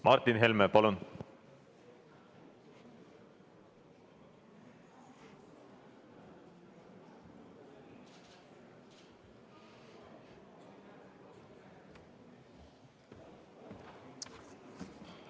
Martin Helme, palun!